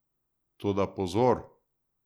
Toda pozor!